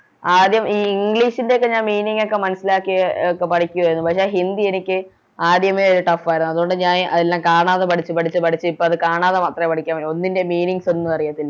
ആദ്യം ഈ English ൻറെ ഒക്കെ ഞാൻ Meaning ഒക്കെ മനസ്സിലാക്കിയൊക്കെ പഠിക്കുവാരുന്നു പക്ഷെ ഹിന്ദി എനിക്ക് ആദ്യമേ ഒര് Tough ആരുന്നു അതുകൊണ്ട് ഞാൻ അതെല്ലാം കാണാതെ പഠിച്ച് പഠിച്ച് പഠിച്ച് ഇപ്പൊ അത് കാണാതെ മാത്രേ പഠിക്കാൻ പറ്റുള്ളൂ ഒന്നിൻറേം Meanings ഒന്നും അറിയത്തില്ല